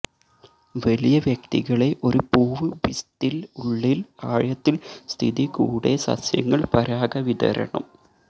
വലിയ വ്യക്തികളെ ഒരു പൂവ് പിസ്തില് ഉള്ളിൽ ആഴത്തിൽ സ്ഥിതി കൂടെ സസ്യങ്ങൾ പരാഗവിതരണം